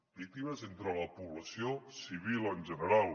víctimes entre la població civil en general